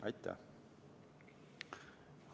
Aitäh!